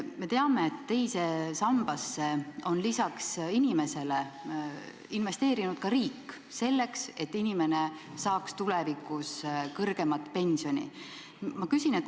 Me teame, et teise sambasse on lisaks inimesele endale investeerinud ka riik, selleks et inimene saaks tulevikus kõrgemat pensioni.